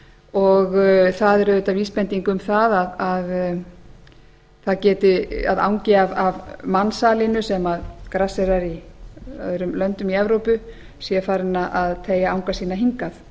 og það er auðvitað vísbending um það að angi af mansalinu sem grasserar í öðrum löndum í evrópu sé farinn að teygja anga sína hingað